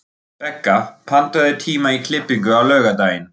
Begga, pantaðu tíma í klippingu á laugardaginn.